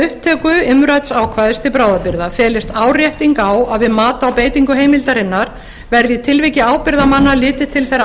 upptöku umrædds ákvæðis til bráðabirgða felist árétting á að við mat á beitingu heimildarinnar verði í tilviki ábyrgðarmanna litið til þeirra